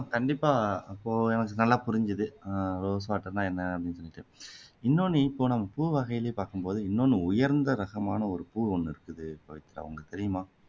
கண்டிப்பா இப்போ எனக்கு நல்லா புரிஞ்சுது ஆஹ் rose water னா என்ன அப்படின்னுட்டு இன்னொண்ணு இப்போ நம்ம பூ வகையிலயே பாக்கும் போது இன்னொண்ணு உயர்ந்த ரகமான ஒரு பூ ஒண்ணு இருக்குது பவித்ரா உங்களுக்கு தெரியுமா